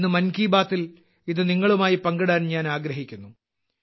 ഇന്ന് മൻ കി ബാത്തിൽ ഇത് നിങ്ങളുമായി പങ്കിടാൻ ഞാൻ ആഗ്രഹിക്കുന്നു